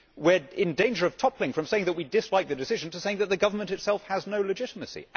We are in danger of toppling from saying that we dislike the decision to saying that the government itself has no legitimacy